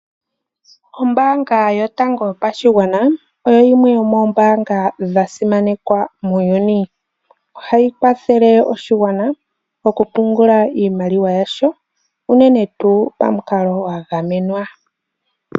Ombaanga yotango yopashigwana , oyo yimwe yomoombanga dhasimanekwa muuyuni. Ohayi kwathele oshigwana okupungula iimaliwa yasho unene tuu pamukalo gwa gamenwa.